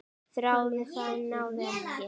Þráði það, en náði ekki.